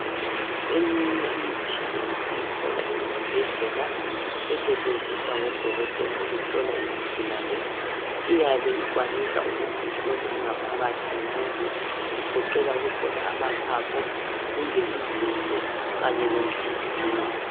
eminye imitshina esiyithola esibhedlela estshenziswa ngodokotela ukuhlola izigulane iyabe ikwanisa ukuthi ihlole ingaphakathi yomuntu igoqela ukuhlola amaphaphu kumbe izinso kunye lenhliziyo